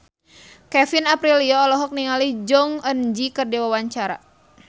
Kevin Aprilio olohok ningali Jong Eun Ji keur diwawancara